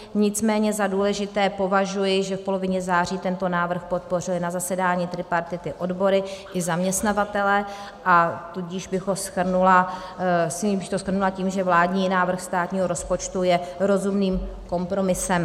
Nicméně za důležité považuji, že v polovině září tento návrh podpořili na zasedání tripartity odbory i zaměstnavatelé, a tudíž bych to shrnula tím, že vládní návrh státního rozpočtu je rozumným kompromisem.